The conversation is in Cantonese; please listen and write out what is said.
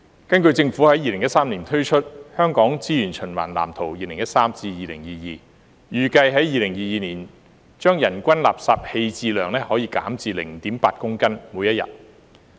根據政府在2013年推出的《香港資源循環藍圖 2013-2022》，預計在2022年，人均垃圾棄置量將減至每天 0.8 公斤。